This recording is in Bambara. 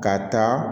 Ka taa